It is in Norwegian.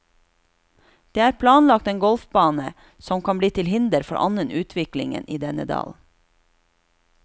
Det er planlagt en golfbane, som kan bli til hinder for annen utvikling i denne dalen.